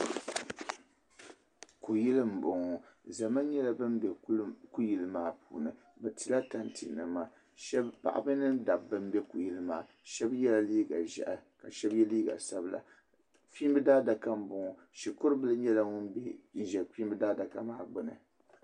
Kuyili m bo ŋɔ zama nyela ban be kuli maa puuni bɛ tila tantɛnima paɣaba mini dabba m be kuyili maa shɛbi yela liiga ʒehi ka shɛbi ye liiga sabila kpiimbi daadaka m bo ŋɔ Shikurubila nyela ŋun ʒe kum adaka maa gbuni.